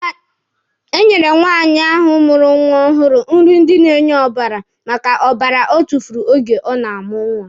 Enyere nwaanyị ahụ mụrụ nwa ọhụrụ iri ndị na-enye ọbara maka ọbara ọ tufuru oge ọ na-amụ nwa.